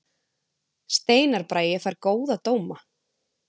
Steinar Bragi fær góða dóma